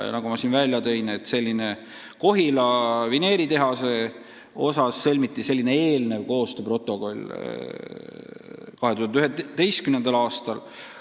Ja nagu ma näiteks tõin, Kohila vineeritehase puhul sõlmiti selline eelnev koostööprotokoll 2011. aastal.